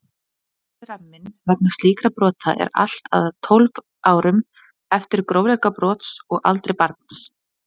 Refsiramminn vegna slíkra brota er allt að tólf árum, eftir grófleika brots og aldri barns.